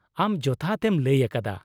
ᱟᱢ ᱡᱚᱛᱷᱟᱛ ᱮᱢ ᱞᱟᱹᱭ ᱟᱠᱟᱫᱟ ᱾